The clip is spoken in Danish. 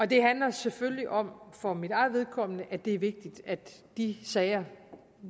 det handler selvfølgelig om for mit eget vedkommende at det er vigtigt at de sager